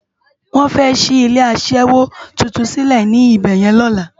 Wòn fè ṣi ilé aṣèwó tútún silé nibèyèn lòlá